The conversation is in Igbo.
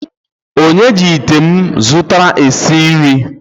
Onye ji ite m zụtara esi nri?